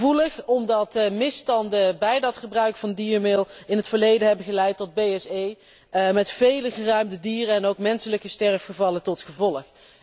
Gevoelig omdat de misstanden bij dat gebruik van diermeel in het verleden hebben geleid tot BSE met vele geruimde dieren en ook menselijke sterfgevallen tot gevolg.